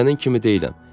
Sənin kimi deyiləm.